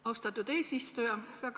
Austatud eesistuja!